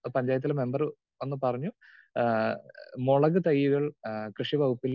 speaker 2 പഞ്ചായത്തിലെ member വന്നു പറഞ്ഞു ആഹ് മൊളക് തയ്യുകൾ കൃഷിവകുപ്പിൽ